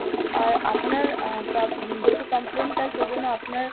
আর আপনার আ~ যেহেতু complain টা সেইজন্য আপনার